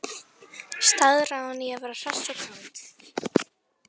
Staðráðin í að vera hress og kát.